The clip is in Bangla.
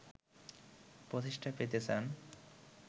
প্রতিষ্ঠা পেতে চান